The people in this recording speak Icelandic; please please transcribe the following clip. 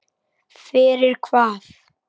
Fyrir hvað?